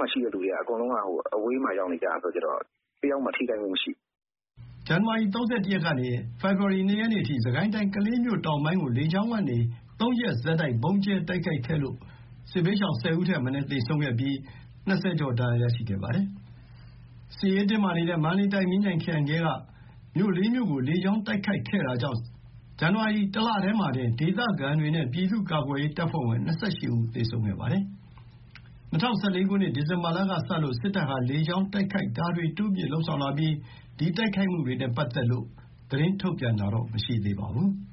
မှာရှိတဲ့သူတွေက အကုန်လုံး အဝေးမှာ ရောက်နေတာဆိုတော့ တယောက်မှ ထိခိုက်မှုမရှိဘူး။" ဇန်နဝါရီ ၃၁ ရက်ကနေ ၂ ရက်နေ့အထိ စစ်ကိုင်းတိုင်း ကလေးမြို့တောင်ပိုင်းကို လေကြောင်းကနေ ၃ ရက်ဆက်တိုက် ဗုံးကြဲတိုက်ခိုက်ခဲ့လို့ စစ်ဘေးရှောင် ၁၀ ဦးထက်မနည်း သေဆုံးပြီး ၂၀ ကျော် ဒဏ်ရာရရှိခဲ့ပါတယ်။ စစ်ရေးတင်းမာနေတဲ့ မန္တလေးတိုင်း မြင်းခြံခရိုင်ထဲက မြို့ ၄ မြို့ကို လေကြောင်းတိုက်ခိုက်ခဲ့တာကြောင့် ဇန်နဝါရီလ ၁ လတည်းမှာတင် ဒေသခံတွေနဲ့ ပြည်သူ့ကာကွယ်ရေးတပ်ဖွဲ့ဝင် ၂၈ ဦး သေဆုံးခဲ့ပါတယ်။ ၂၀၁၄ ခုနှစ် ဒီဇင်ဘာလကစလို့ စစ်တပ်ဟာ လေကြောင်းတိုက်ခိုက်တာတွေ တိုးမြှင့်လုပ်ဆောင်လာပြီး ဒီတိုက်ခိုက်မှုတွေနဲ့ ပတ်သက်လို့ သတင်းထုတ်ပြန်တာတော့ မရှိသေးပါဘူး။